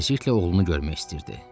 Tezliklə oğlunu görmək istəyirdi.